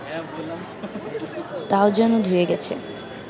তাও যেন ধুয়ে গেছে